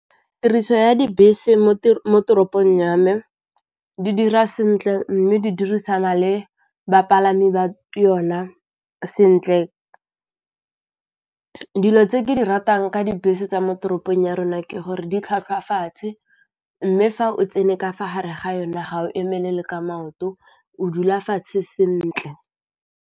Tiriso ya dibese mo toropong ya mme di dira sentle mme di dirisana le bapalami ba yona sentle, dilo tse ke di ratang ka dibese tsa mo toropong ya rona ke gore di tlhwatlhwa fatshe, mme fa o tsene ka fa gare ga yone ga o emelela ka maoto o dula fatshe sentle.